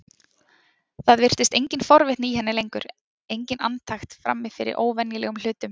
Það virtist engin forvitni í henni lengur, engin andakt frammi fyrir óvenjulegum hlutum.